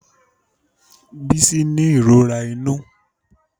Bisí ní ìròrà inu.